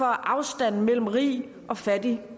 afstanden mellem rig og fattig